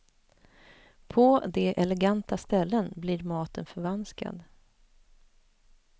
På de eleganta ställen blir maten förvanskad.